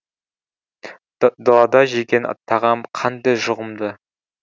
далада жеген тағам қандай жұғымды